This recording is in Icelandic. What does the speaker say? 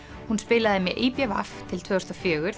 hún spilaði með í b v til tvö þúsund og fjögur